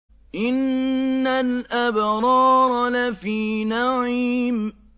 إِنَّ الْأَبْرَارَ لَفِي نَعِيمٍ